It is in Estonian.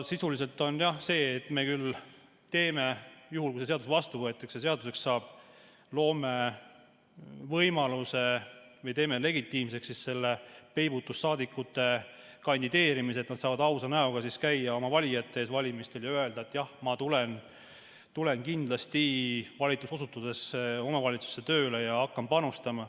Sisuliselt, juhul kui see seadus vastu võetakse ja seaduseks saab, me loome võimaluse või teeme legitiimseks peibutussaadikute kandideerimise, nad saavad ausa näoga käia oma valijate ees valimistel ja öelda, et jah, ma tulen valituks osutudes kindlasti omavalitsusse tööle ja hakkan panustama.